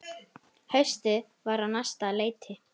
Haustið var á næsta leiti.